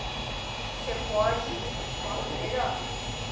Se você pode, é melhor?